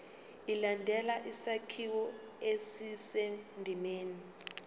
ilandele isakhiwo esisendimeni